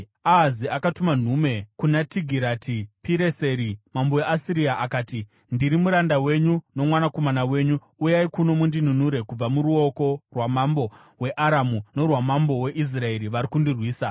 Ahazi akatuma nhume kuna Tigirati-Pireseri mambo weAsiria akati, “Ndiri muranda wenyu nomwanakomana wenyu. Uyai kuno mundinunure kubva muruoko rwamambo weAramu norwamambo weIsraeri vari kundirwisa.”